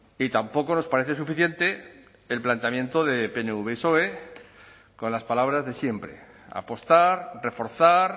y tampoco nos parece suficiente el planteamiento de pnv soe con las palabras de siempre apostar reforzar